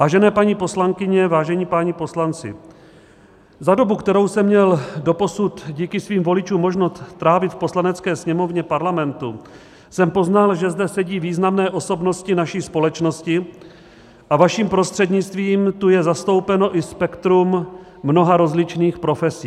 Vážené paní poslankyně, vážení páni poslanci, za dobu, kterou jsem měl doposud díky svým voličům možnost strávit v Poslanecké sněmovně Parlamentu, jsem poznal, že zde sedí významné osobnosti naší společnosti, a vaším prostřednictvím tu je zastoupeno i spektrum mnoha rozličných profesí.